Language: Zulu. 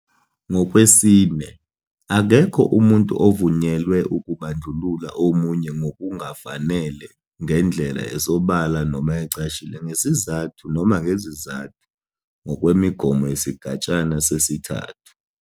4, Akekho umuntu ovunyelwe ukubandlulula omunye ngokungafanele ngendlela esobala noma ecashile ngesizathu noma ngezizathu ngokwemigomo yesigatshana sesi, 3.